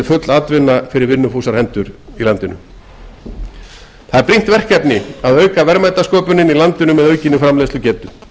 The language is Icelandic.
full atvinna fyrir vinnufúsar hendur það er brýnt verkefni að auka verðmætasköpun í landinu með aukinni framleiðslugetu